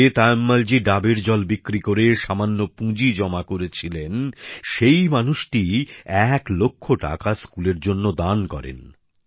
যে তায়ম্মলজী ডাবের জল বিক্রি করে সামান্য পুঁজি জমা করেছিলেন সেই মানুষটিই এক লক্ষ টাকা স্কুলের জন্য দান করেন